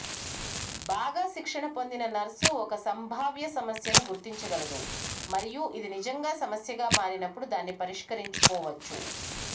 బాగా శిక్షణ పొందిన నర్సు ఒక సంభావ్య సమస్యను గుర్తించగలదు మరియు ఇది నిజంగా సమస్యగా మారినప్పుడు దాన్ని పరిష్కరించుకోవచ్చు